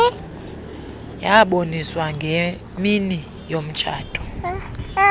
yaboniswa ngemini yomtshato